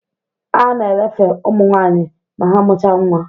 A na elefe ụmụ nwaanyị ma ha mụcha nwa